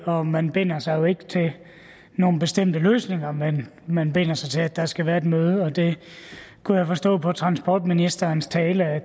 og man binder sig jo ikke til nogle bestemte løsninger men man binder sig til at der skal være et møde og det kunne jeg forstå på transportministerens tale at